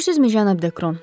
Görürsüzmü cənab Dekron.